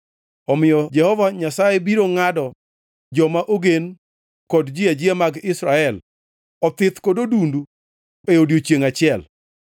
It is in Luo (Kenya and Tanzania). Omiyo Jehova Nyasaye biro ngʼado joma ogen kod ji ajia mag Israel, othith kod odundu e odiechiengʼ achiel;